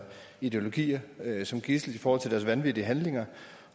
ideologier som gidsel i forhold til deres vanvittige handlinger